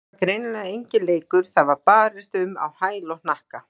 Þetta var greinilega enginn leikur, það var barist um á hæl og hnakka.